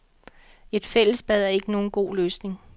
Et fællesbad er ikke nogen god løsning.